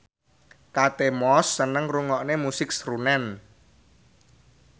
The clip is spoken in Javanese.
Kate Moss seneng ngrungokne musik srunen